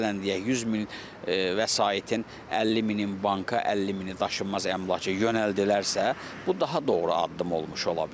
Məsələn, deyək 100 min vəsaitin 50 mini banka, 50 mini daşınmaz əmlaka yönəldilərsə, bu daha doğru addım olmuş ola bilər.